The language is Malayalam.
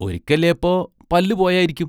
ഒരിക്കല്ലിപ്പോ പല്ലു പോയാരിക്കും.